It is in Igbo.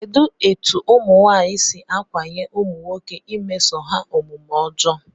Kedụ etu ụmụnwaanyị si ákwànye ụmụnwoke imeso ha omume ọjọọ?